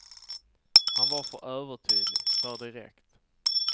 Han var för övertydlig, för direkt.